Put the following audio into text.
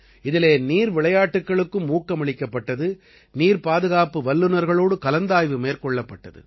இதிலே நீர் விளையாட்டுக்களுக்கும் ஊக்கமளிக்கப்பட்டது நீர் பாதுகாப்பு வல்லுநர்களோடு கலந்தாய்வு மேற்கொள்ளப்பட்டது